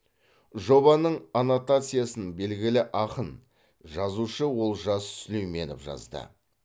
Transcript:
жобаның аннотациясын белгілі ақын жазушы олжас сүлейменов жазды